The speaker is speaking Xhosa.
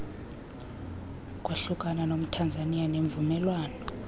kwahlukana nomthanzaniya ngemvumelwano